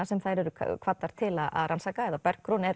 sem þær eru kvaddar til að rannsaka eða Bergrún er